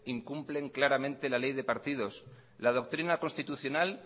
incumplen claramente la ley de partidos la doctrina constitucional